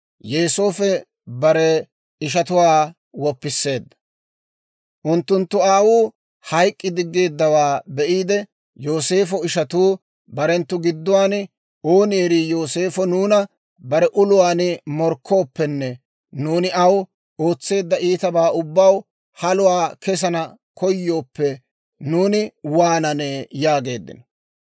Unttunttu aawuu hayk'k'i diggeeddawaa be'iide, Yooseefo ishatuu barenttu gidduwaan, «Ooni erii Yooseefo nuuna bare uluwaan morkkooppenne nuuni aw ootseedda iitabaa ubbaw haluwaa kessana koyooppe, nuuni waananee?» yaageeddino.